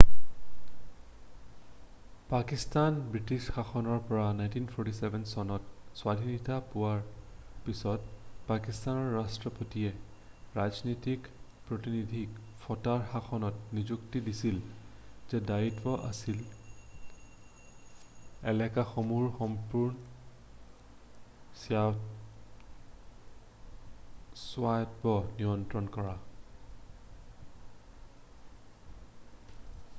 পাকিস্তানে ব্ৰিটিছ শাসনৰ পৰা 1947 চনত স্বাধীনতা পোৱাৰ পিছত পাকিস্তানৰ ৰাষ্ট্ৰপতিয়ে ৰাজনৈতিক প্ৰীতিনিধিক ফটাৰ শাসনৰ নিযুক্তি দিছিল যাৰ দায়িত্ব আছিল এলেকাসমূহৰ সম্পূৰ্ণ স্বায়ত্ব নিয়ন্ত্ৰণ কৰা